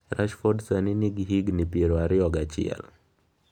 Rashford sani nigi higni piero ariyo gi achiel.